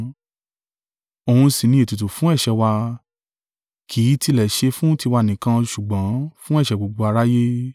Òun sì ní ètùtù fún ẹ̀ṣẹ̀ wa, kì í tilẹ̀ ṣe fún tiwa nìkan ṣùgbọ́n fún ẹ̀ṣẹ̀ gbogbo aráyé.